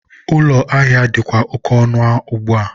ụlọ ahịa dịkwa oke ọnụ ugbua.